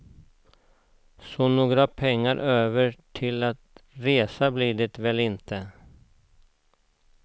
Så några pengar över till att resa blir det väl inte.